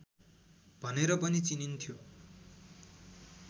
भनेर पनि चिनिन्थ्यो